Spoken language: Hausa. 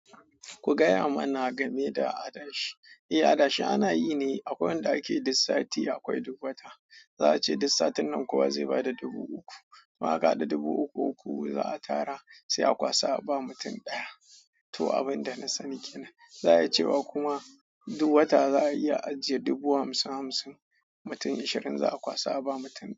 Ku gaya mana game da adashi. Eh adashi ana yi ne, akwai wanda ake duk sati, akwai duk wata. Za a ce duk satin nan kowa zai bada dubu uku. Maka da dubu uku uku za a tara sai a kwasa ba mutum ɗaya. To abin da na sani kenan. Za a iya cewa kuma duk wata za a iya ajiye dubu hamsin hamsin, mutum ashirin za a kwasa ba mutum ɗaya.